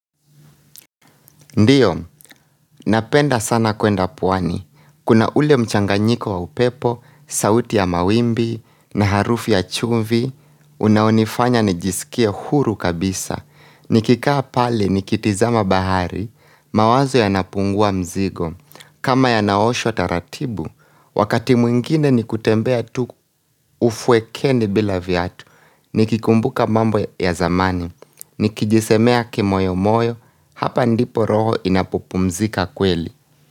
Ndiyo, napenda sana kwenda puwani. Kuna ule mchanganyiko wa upepo, sauti ya mawimbi, na harufu ya chumvi, unaonifanya nijisikie huru kabisa. Nikikaa pale, nikitizama bahari, mawazo yanapungua mzigo. Kama yanaoshwa taratibu, wakati mwingine nikutembea tu ufuekeni bila vyatu. Nikikumbuka mambo ya zamani, nikijisemea kimoyo moyo, hapa ndipo roho inapopumzika kweli.